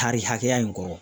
Tari hakɛya in kɔrɔ